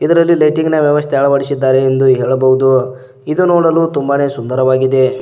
ಇದರಲ್ಲಿ ಲೈಟಿಂಗ್ ನ ವ್ಯವಸ್ಥೆ ಅಳವಡಿಸಿದ್ದಾರೆ ಎಂದು ಹೇಳಬಹುದು ಇದು ನೋಡಲು ತುಂಬಾನೇ ಸುಂದರವಾಗಿದೆ.